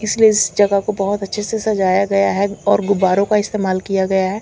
इसलिये इस जगह को बोहोत अच्छे से सजाया गया है और गुब्बारों का इस्तेमाल किया गया है।